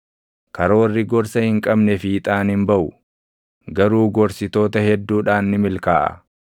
Karoorri gorsa hin qabne fiixaan hin baʼu; garuu gorsitoota hedduudhaan ni milkaaʼa.